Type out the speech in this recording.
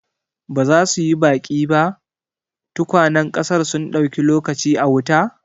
Ba za su yi baki ba? tukwanen ƙasar sun dauki lokaci a wuta.